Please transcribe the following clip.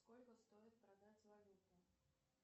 сколько стоит продать валюту